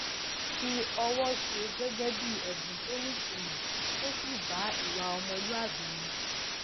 fi ọwọ ṣe gégé bí èbùn tó nítumò tó sì bá ìwà ọmọlúwàbí mu